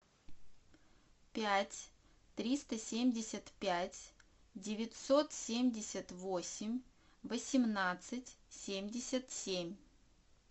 пять триста семьдесят пять девятьсот семьдесят восемь восемнадцать семьдесят семь